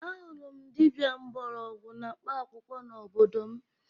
Ahụrụ m dibia mgbọrọgwụ na mkpaakwụkwọ n'obodo m